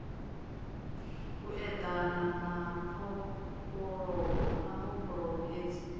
u eḓana na mbofholowo hezwi